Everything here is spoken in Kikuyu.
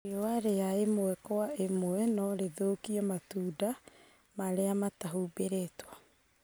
riũa riaimwe kwa ĩmwe no rĩthũkie matunda marĩa matahumbĩrĩtwo.